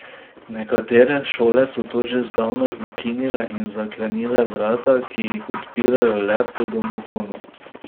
Nekatere šole so to že zdavnaj ukinile in zaklenile vrata, ki jih odpirajo le po domofonu.